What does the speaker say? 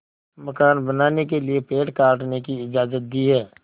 मकान बनाने के लिए पेड़ काटने की इजाज़त दी है